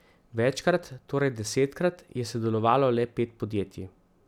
Večkrat, torej desetkrat, je sodelovalo le pet podjetij.